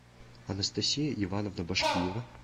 анастасия ивановна башкиева